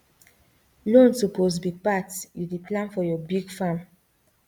loan suppose be part you dey plan for your big farm